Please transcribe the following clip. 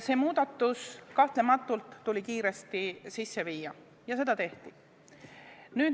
See muudatus tuli kahtlemata kiiresti sisse viia ja seda tehti.